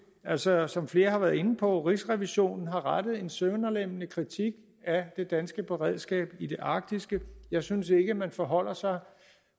altså som flere har været inde på har rigsrevisionen rettet en sønderlemmende kritik af det danske beredskab i det arktiske jeg synes ikke man forholder sig